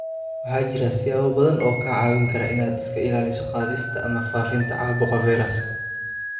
Waxaa jira siyaabo badan oo kaa caawin kara inaad iska ilaaliso qaadista ama faafinta caabuqa fayraska.